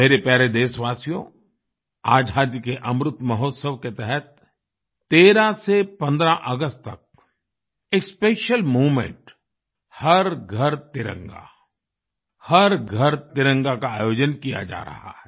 मेरे प्यारे देशवासियो आज़ादी के अमृत महोत्सव के तहत 13 से 15 अगस्त तक एक स्पेशियल मूवमेंट हर घर तिरंगा हर घर तिरंगा का आयोजन किया जा रहा है